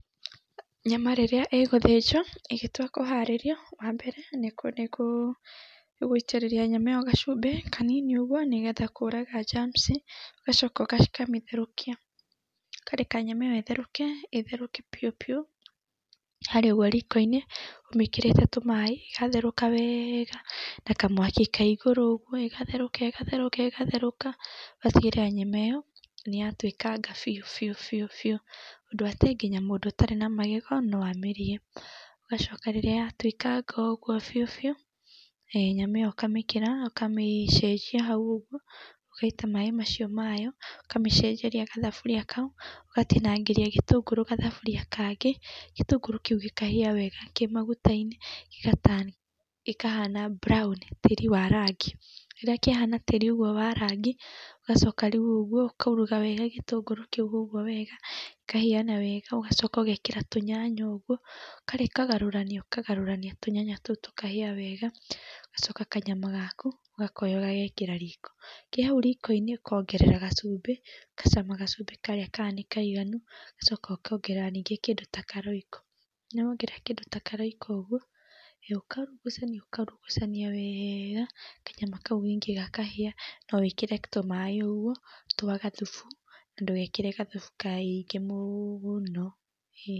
Nyama rĩrĩa ĩgũthĩnjwo, ĩgĩtua kũharĩrio, wa mbere nĩ gũitĩrĩria nyama ĩyo gacumbĩ kananini ũguo nĩgetha kũraga njamuci. Ũgacoka ũkamĩtehrũkia. Ũkareka nyama ĩyo ĩtherũke, ĩtherũke biũ biũ harĩa ũguo riko-inĩ ũmĩkĩrĩte tũmaĩ ĩgatherũka wega, na kamwaki ke igũrũ ũguo, ĩgatherũka, ĩgatherũka, ĩgatherũka, ũgatigĩrĩra nyama ĩyo nĩtatuĩkanga biũ biũ biũ biũ, ũndũ atĩ nginya mũndũ ĩtarĩ na magego na amĩrĩe. Ũgacoka rĩrĩa yatuĩkanga ũguo biũ biũ, nyama ĩyo ũkamĩkĩra ũkamĩcenjia hau ũguo, ũgaita maĩ macio mayo, ũkamĩcenjeria gathaburia kau. Ũgatinangĩria gĩtũngũrũ gathaburia kangĩ, gĩtũngũrũ kĩu gĩkahĩa wega kĩ maguta-inĩ gĩga turn gĩkahana mburaũni tĩri wa rangi. Rĩrĩa kĩahana tĩri ũguo wa rangi, ũgacoka rĩu ũguo ũkauruga wega gĩtũngũrũ kĩu ũguo wega gĩkahĩana wega ũgacoka ũgekĩra tũnyanya ũguo ũkagarũrania ũkagarũrania tũnyanya tũu tũkahĩa wega. Ũgacoka kanyama gaku ũgakoya ũgagekĩra riko. Ke hau riko-inĩ ũkongerera gacumbĩ. Ũgacama gacumbĩ karĩa kana nĩkaiganu, ũgacoka ũkongerera ningĩ kĩndũ ta karoiko. Na wongerera kĩndũ ta karoiko ũguo ũgoka ũkaurugucani ũkaurugucania wega, kanyama kau ningĩ gakahĩa. No wĩkĩre tũmaĩ ũguo twa gathubu na ndũgekĩre gathubu kaingĩ mũno. Ĩĩ.